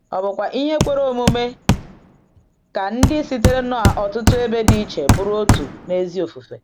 Ọ̀ bụkwa ihe kwere omume ka ndị sitere n’ọtụtụ ebe dị iche bụrụ otu n’ezi ofufe?